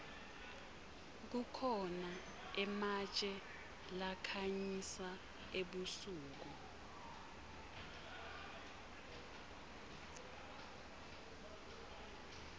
kukhona ematje lakhanyisa ebusuku